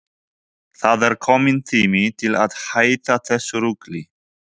Það er kominn tími til að hætta þessu rugli!